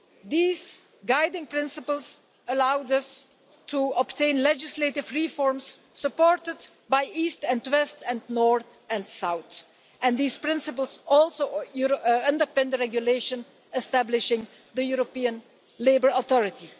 These guiding principles allowed us to obtain legislative reforms, supported by east and west and north and south, and these principles also underpin the regulation establishing the European Labour Authority.